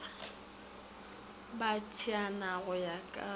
ba tšeana go ya ka